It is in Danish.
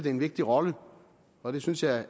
en vigtig rolle og det synes jeg